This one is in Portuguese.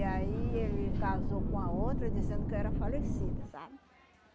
E aí ele casou com a outra dizendo que eu era falecida, sabe?